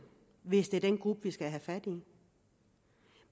hvis det er den gruppe vi skal have fat i